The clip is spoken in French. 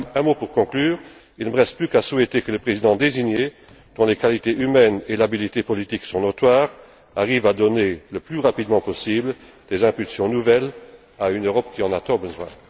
Un mot pour conclure il ne me reste plus qu'à souhaiter que le président désigné, dont les qualités humaines et l'habileté politique sont notoires, arrive à donner le plus rapidement possible des impulsions nouvelles à une Europe qui en a tant besoin.